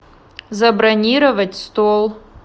забронировать стол